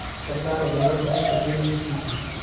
सरदार वल्लभ भाई पटेल ने की थी